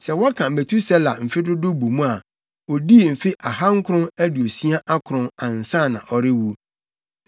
Sɛ wɔka Metusela mfe dodow bɔ mu a, odii mfe ahankron aduosia akron, ansa na ɔrewu.